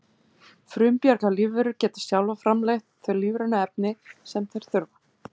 frumbjarga lífverur geta sjálfar framleitt þau lífrænu efni sem þær þurfa